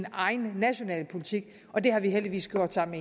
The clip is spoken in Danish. egen nationale politik og det har vi heldigvis gjort sammen